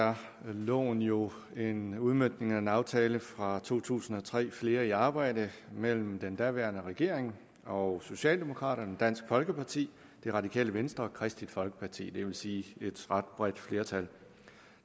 er loven jo en udmøntning af en aftale fra to tusind og tre flere i arbejde mellem den daværende regering og socialdemokraterne dansk folkeparti det radikale venstre og kristeligt folkeparti det vil sige et ret bredt flertal